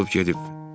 O açılıb gedib.